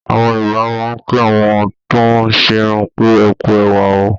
Àwọn Yorùbá máa ń kí àwọn tóún ṣerun pé "ẹkú ẹwà o"